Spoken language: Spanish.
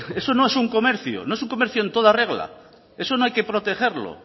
eso no es un comercio no es un comercio en toda regla eso no hay que protegerlo